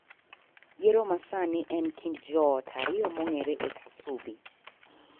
yiero masani ni en kind joot ariyo mong'ere e Kasubi.